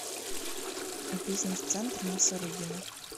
бизнес центр на сарыгина